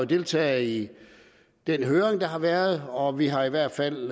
deltaget i den høring der har været og vi har i hvert fald